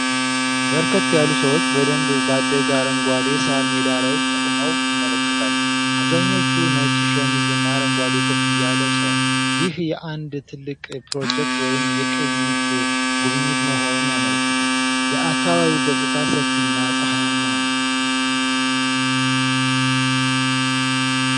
በርከት ያሉ ሰዎች በደንብ ባደገ አረንጓዴ ሳር ሜዳ ላይ ቆመው ይመለከታሉ። አብዛኞቹ ነጭ ሸሚዝ እና አረንጓዴ ኮፍያ ለብሰዋል፤ ይህ የአንድ ትልቅ ፕሮጀክት ወይም የቅኝት ጉብኝት መሆኑን ያመለክታል። የአካባቢው ገጽታ ሰፊና ፀሐያማ ነው።